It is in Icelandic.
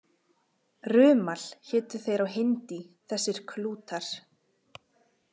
Rumal hétu þeir á hindí, þessir klútar.